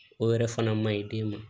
O yɛrɛ fana man ɲi den ma